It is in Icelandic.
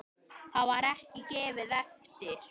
Það var ekki gefið eftir.